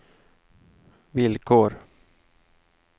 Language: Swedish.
villkor